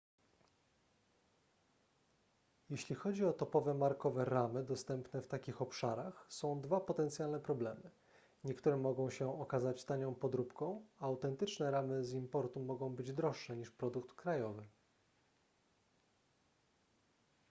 jeśli chodzi o topowe markowe ramy dostępne w takich obszarach są dwa potencjalne problemy niektóre mogą się okazać tanią podróbką a autentyczne ramy z importu mogą być droższe niż produkt krajowy